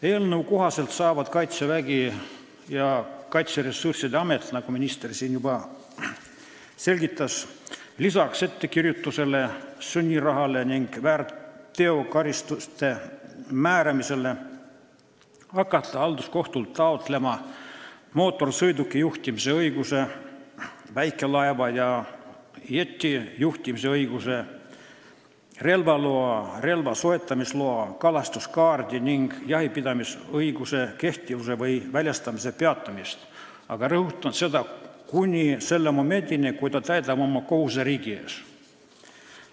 Eelnõu kohaselt saavad Kaitsevägi ja Kaitseressursside Amet, nagu minister siin juba selgitas, lisaks ettekirjutusele, sunniraha ning väärteokaristuste määramisele hakata halduskohtult taotlema mootorsõiduki juhtimise õiguse, väikelaeva ja jeti juhtimise õiguse, relvaloa, relva soetamise loa, kalastuskaardi ning jahipidamisõiguse kehtivuse või väljastamise peatamist, aga rõhutan, et kuni selle momendini, kui isik täidab oma kohuse riigi ees.